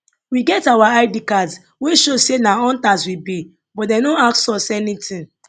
we get our id cards wey show say na hunters we be but dem no ask us anything